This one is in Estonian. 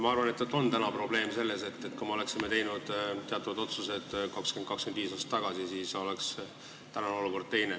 Ma arvan, et täna on probleem, aga kui me oleksime teatavad otsused teinud 20–25 aastat tagasi, siis oleks olukord teine.